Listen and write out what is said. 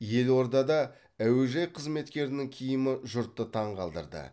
елордада әуежай қызметкерінің киімі жұртты таңғалдырды